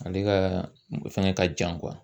Ale gaa fɛngɛ ka jan kuwa